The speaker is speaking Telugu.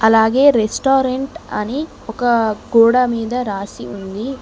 అలాగే రెస్టారెంట్ అని ఒక గోడా మీద రాసి ఉంది.